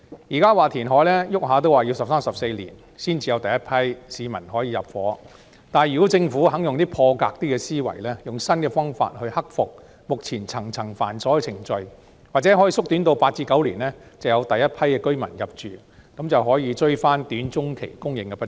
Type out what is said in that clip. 現時說填海動輒需要十三四年才可讓第一批市民入住，但如果政府願意用破格的思維，用新的方法克服目前層層繁瑣的程序，或許可以縮短至8至9年就讓第一批居民入住，可以追回短中期的供應不足。